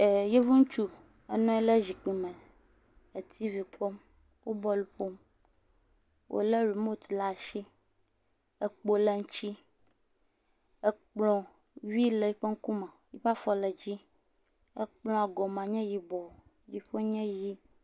Yevu ŋutsu ɔnɔ anyi ɖe zikpui me le tivi kpɔm, wo bɔl ƒom, wòlé rimot le asi, ekpo le ŋutsi, ekplɔ vi le eŋkume, eƒe afɔ le dzi, ekplɔ gɔme nye yibɔ, dziƒo nye ʋɛ̃.